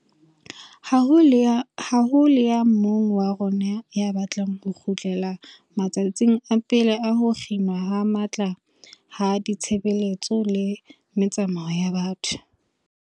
Ha ho le ya mong wa rona ya batlang ho kgutlela ma tsatsing a pele a ho kginwa ho matla ha ditshebeletso le metsamao ya batho.